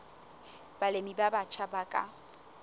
balemi ba batjha ba ka